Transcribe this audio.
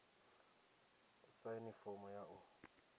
u saina fomo ya u